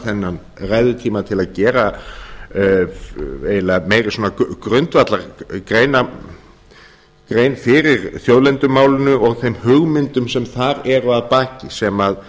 þennan ræðutíma til að gera eiginlega meiri svona grundvallargrein fyrir þjóðlendumálinu og þeim hugmyndum sem þar eru baki sem